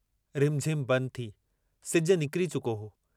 रिमझिम बंदि थी सिजु निकिरी चुको हो।